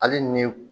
Hali ni